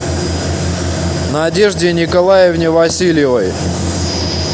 надежде николаевне васильевой